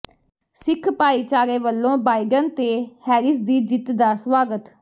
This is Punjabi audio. ਸਿੱਖ ਭਾਈਚਾਰੇ ਵੱਲੋਂ ਬਾਇਡਨ ਤੇ ਹੈਰਿਸ ਦੀ ਜਿੱਤ ਦਾ ਸਵਾਗਤ